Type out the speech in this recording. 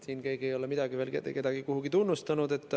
Keegi ei ole siin veel midagi ega kedagi tunnustanud.